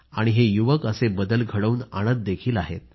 आणि हे युवक असे बदल घडवून आणतही आहेत